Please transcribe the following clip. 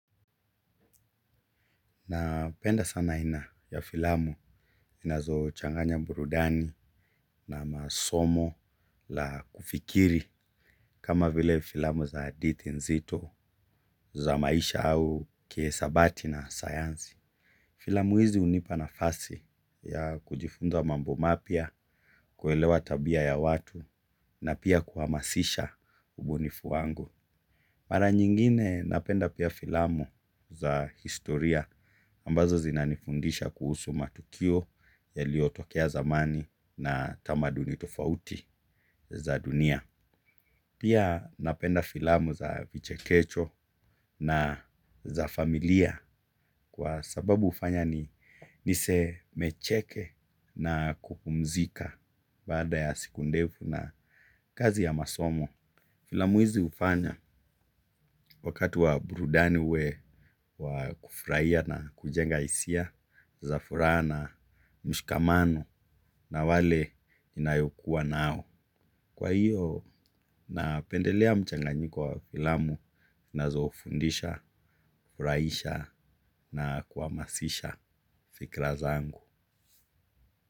Napenda sana aina ya filamu inazochanganya burudani na masomo la kufikiri kama vile filamu za hadithi nzito za maisha au kiesabati na sayanzi. Filamu hizi hunipa nafasi ya kujifunza mambo mapya, kuelewa tabia ya watu na pia kuhamasisha ubunifu wangu. Mara nyingine napenda pia filamu za historia ambazo zinanifundisha kuhusu matukio yaliyotokea zamani na tamaduni tofauti za dunia. Pia napenda filamu za vichekesho na za familia kwa sababu hufanya nisemecheke na kupumzika baada ya siku ndefu na kazi ya masomo. Filamu hizi hufanya wakati wa burudani uwe wa kufurahia na kujenga hisia za furaha na mshikamano na wale inayokuwa nao. Kwa hiyo napendelea mchanganyiko wa filamu zinazofundisha furahisha na kuhamasisha fikra zangu.